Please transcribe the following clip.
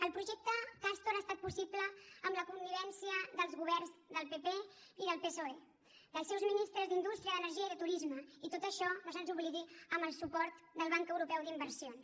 el projecte castor ha estat possible amb la connivència dels governs del pp i del psoe dels seus ministres d’indústria d’energia i de turisme i tot això que no se’ns oblidi amb el suport del banc europeu d’inversions